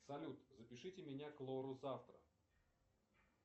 салют запишите меня к лору завтра